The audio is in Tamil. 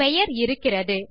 பெயர் இருக்கிறது